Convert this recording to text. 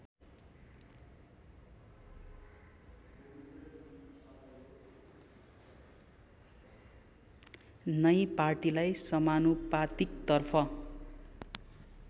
नै पार्टीलाई समानुपातिकतर्फ